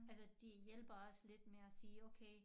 Altså de hjælper os lidt med at sige okay